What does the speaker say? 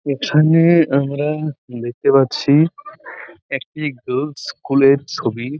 এখানে আমরা দেখতে পাচ্ছি-ই একটি গার্লস স্কুল -এর ছবি।